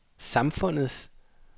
samfundets